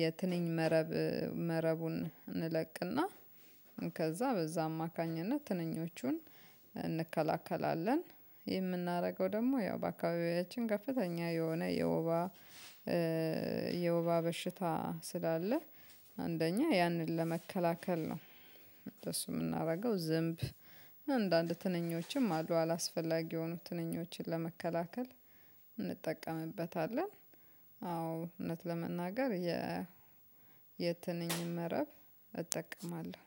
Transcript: የትንኝ መረብ መረቡን እንለቅና ከዛ በዛ አማካኝነት ትንኞቹን እንከላከላለን። የምናደርገው ደግሞ ያው በአካባቢያችን ከፍተኛ የሆነ የወባ የወባ በሽታ ስላለ አንደኛ ያንን ለመከላከል ነው። እንደሱ የምናደርገው ዝንብ አንዳንድ ትንኞችም አሉ አላስፈላጊ የሆኑ ትንኞችን ለመከላከል እንጠቀምበታለን። አዎ እውነት ለመናገር የትንኝ መረብ እጠቀማለሁ